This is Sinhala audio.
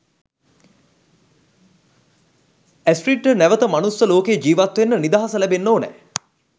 ඇස්ට්‍රිඩ්ට නැවත මනුස්ස ලෝකේ ජිවත් වෙන්න නිදහස ලැබෙන්න ඕනේ